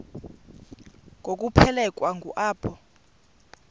ngokuphelekwa ngu apho